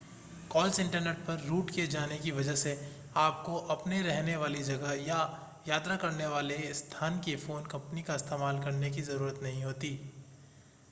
calls internet पर route किए जाने की वजह से आपको अपने रहने वाली जगह या यात्रा करने वाले स्थान की फ़ोन कंपनी का इस्तेमाल करने की ज़रूरत नहीं होती है